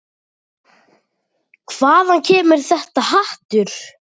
Hvaðan kemur þetta hatur?